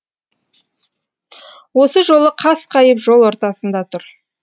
осы жолы қасқайып жол ортасында тұр